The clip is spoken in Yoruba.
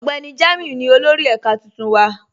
Ọgbẹni Jamiu ni olórì èká tuntun wa.